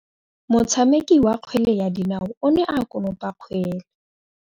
Motshameki wa kgwele ya dinaô o ne a konopa kgwele.